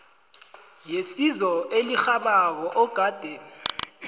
yesizo elirhabako ogade